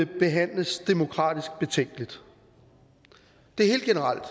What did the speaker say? behandles demokratisk betænkeligt det er helt generelt